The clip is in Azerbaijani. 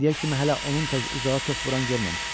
İndiyə kimi hələ onun tək uzağa top vuran görməmişəm.